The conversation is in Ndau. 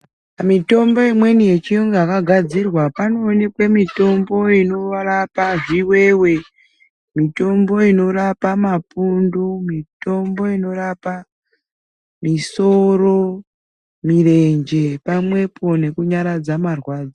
Mitombo imweni yechiyungu yakagadzirwa panoonekwe mitombo inorapa zviwewe. Mitombo inorapa mapundu, mitombo inorapa misoro, mirenje pamwepo nekunyaradza marwadzo.